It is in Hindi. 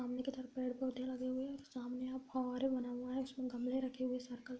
सामने के तरफ पेड़-पौधे लगे हुए है सामने बना हुआ है जिसमें गमले रखे हुए सर्किल --